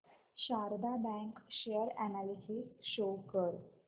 Sharda bank share analysis show कर